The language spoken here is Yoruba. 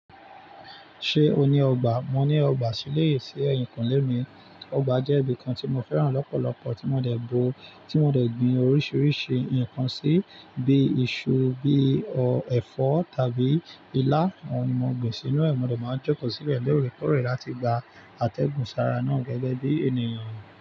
Ṣé o ní ọgbà? Mo ní ọgbà sílé, sí ẹ̀yìnkúnlé mi. Ọgbà jẹ́ ibìkan tí mo fẹ́ràn lọ́pọ̀lọpọ̀, tí mo dẹ̀ bo, tí mo dẹ̀ gbin oríṣiríṣi nǹkan sí, bíi iṣu, bí i ọ̀ ẹfọ tàbí ilá. Uọn ní mo gbìn sínú ẹ̀, mo dẹ̀ máa jẹ́kọ̀ọ́ síbẹ̀ lorekọ̀re láti gba àtẹ̀gùn sára náà gẹ́gẹ́ bí ènìyàn.